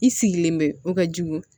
I sigilen bɛ o ka jugu